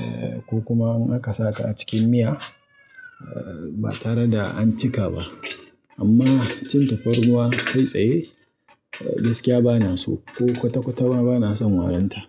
eh ko kuma an aka sa ta a cikin miya ba tare da an cika ba. Amma cin tafarnuwa kai tsaye gaskiya ba na so ko kwata-kwata ma ba na son warinta.